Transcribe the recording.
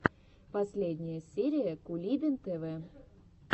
последняя серия кулибин тв